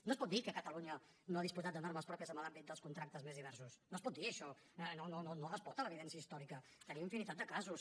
no es pot dir que catalunya no ha disposat de normes pròpies a l’àmbit dels contractes més diversos no es pot dir això no no no no respon a l’evidència històrica tenim infinitat de casos